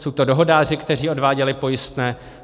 Jsou to dohodáři, kteří odváděli pojistné.